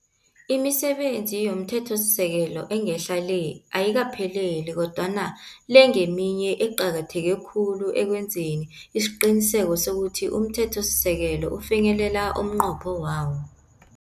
Imisebenzi yomthethosisekelo engehla le, ayikaphelele kodwana le ngeminye eqakatheke khulu ekwenzeni isiqiniseko sokuthi umthethosisekelo ufinyelela umnqopho wawo.